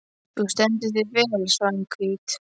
Þú stendur þig vel, Svanhvít!